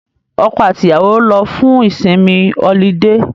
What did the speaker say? Ọkọ àti ìyàwó lọ fún ìsinmi ọlidé